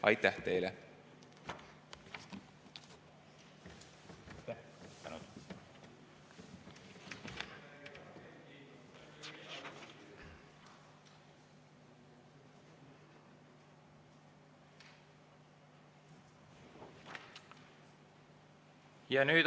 Aitäh teile!